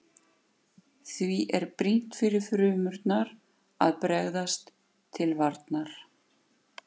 Því er brýnt fyrir frumurnar að bregðast til varnar.